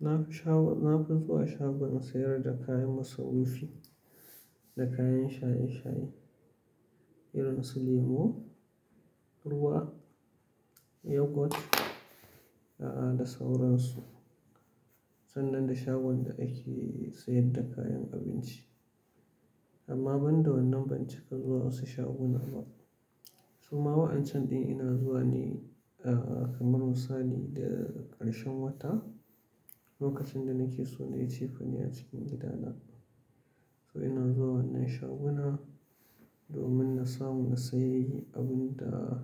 Na fi sha wa-- na fi zuwa shagon sayar da kayan masarufi da kayan shaye shaye, irin su lemo, ruwa, yogurt da sauransu. Sannan da shagon da ake sayar da kayan abinci. Amma ban da wannan ban cika zuwa wasu shaguna ba. Su ma wa'ancan ɗin ina zuwa ne kamar misali da ƙarshen wata, lokacin da nake so na yi cefane a cikin gidana. To ina zuwa wannan shaguna domin na samu na sayi abin da